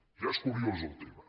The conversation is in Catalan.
ja és curiós el tema